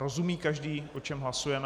Rozumí každý, o čem hlasujeme?